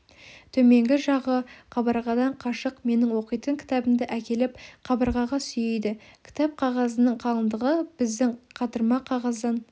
төменгі жағы қабырғадан қашық менің оқитын кітабымды әкеліп қабырғаға сүйейді кітап қағазының қалыңдығы біздің қатырма қағаздан